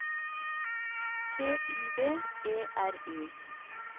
T Y V E R I